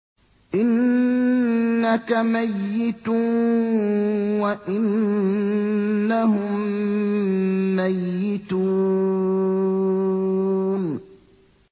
إِنَّكَ مَيِّتٌ وَإِنَّهُم مَّيِّتُونَ